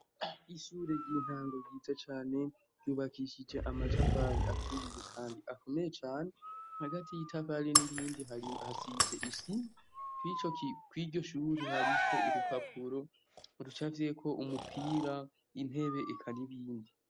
Ishure ry'intango ryiza cane ryubakishije amatafari aturiye kandi akomeye cane ,hagati y'itafari n'irindi hasize isima kw'iryo shure hariko urupapuro rucafyeko umupira y'intebe eka n'ibindi.